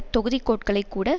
தொகுதிக் கோட்டைகளை கூட